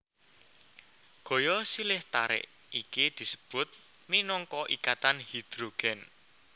Gaya silih tarik iki disebut minangka ikatan hidrogen